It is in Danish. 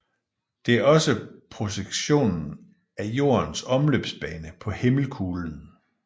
Det er også projektionen af Jordens omløbsbane på himmelkuglen